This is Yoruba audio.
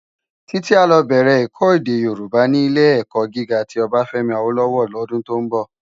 Titi á lò bèrè èkò èdè Yorúbá ni Ilé-èkò gigá ti Obafemi Awolowo lòdún tó nbò